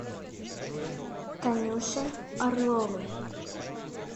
танюше орловой